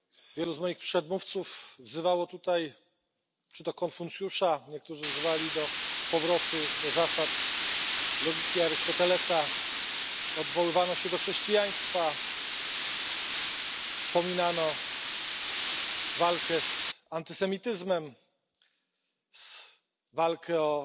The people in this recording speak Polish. Wielu z moich przedmówców wzywało tutaj Konfucjusza, niektórzy wzywali do powrotu do zasad logiki Arystotelesa, odwoływano się do chrześcijaństwa, wspominano walkę z antysemityzmem, walkę o